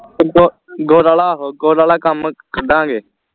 ਗੁੜ ਵਾਲਾ ਆਹੋ ਗੁੜ ਵਾਲਾ ਕੰਮ ਕੱਢਾਗੇ